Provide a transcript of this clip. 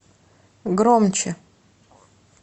громче